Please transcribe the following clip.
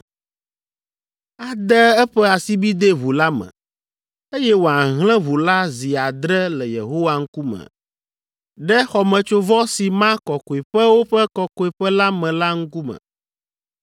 ade eƒe asibidɛ ʋu la me, eye wòahlẽ ʋu la zi adre le Yehowa ŋkume ɖe xɔmetsovɔ si ma Kɔkɔeƒewo ƒe Kɔkɔeƒe la me la ŋkume.